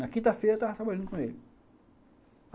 Na quinta-feira eu estava trabalhando com ele.